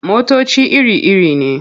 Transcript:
Motoci iri-iri ne.